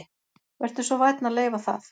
Vertu svo vænn að leyfa það